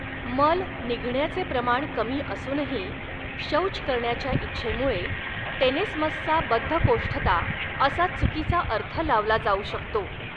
मल निघण्याचे प्रमाण कमी असूनही शौच करण्याच्या इच्छेमुळे, टेनेस्मसचा बद्धकोष्ठता असा चुकीचा अर्थ लावला जाऊ शकतो.